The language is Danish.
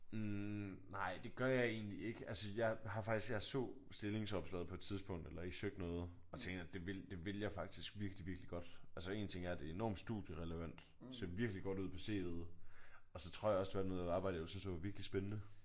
Hm nej det gør jeg egentlig ikke. Altså jeg har faktisk jeg så stillingsopslaget på et tidspunkt eller I søgte noget og der tænkte jeg at det ville det ville jeg faktisk virkelig virkelig godt. Altså en ting er at det er enormt studierelevant ser virkelig godt ud på CV'et og så tror jeg også det var noget arbejde jeg ville synes var virkelig spændende